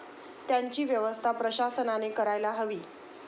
त्यांची व्यवस्था प्रशासनाने करायला हवी.